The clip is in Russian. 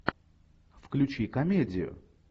включи комедию